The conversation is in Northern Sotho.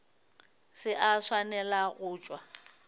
se a swanela go tšwa